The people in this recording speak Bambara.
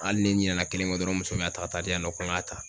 Hali ni n ɲinɛna kelen kɔ dɔrɔn n muso bɛ a ta ka taa'a di yan nɔ ko n ŋ'a ta